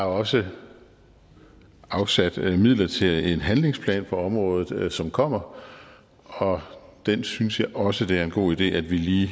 også afsat midler til en handlingsplan på området som kommer og den synes jeg også det er en god idé at vi lige